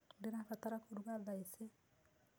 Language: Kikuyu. Ndĩrabatara kũrũga tha ĩcĩ